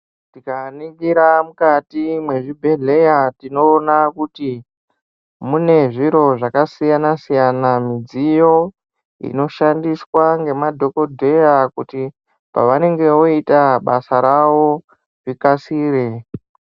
Tikaningira mukati mwezvibhedhleya tinoona kuti mune zviro zvakasiyana siyana midziyo inoshandiswa ngemadhokodheya kuti pavanenge voita basa ravo zvikasire.